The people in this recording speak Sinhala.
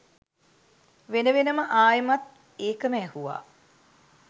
වෙන වෙනම ආයෙමත් ඒකම ඇහුවා